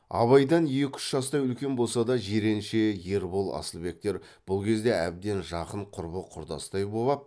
абайдан екі үш жастай үлкен болса да жиренше ербол асылбектер бұл кезде әбден жақын құрбы құрдастай боп ап